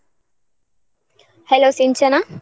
Hello Sinchana.